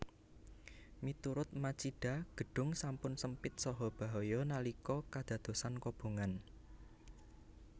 Miturut Machida gedung sampun sempit saha bahaya nalika kadadosan kobongan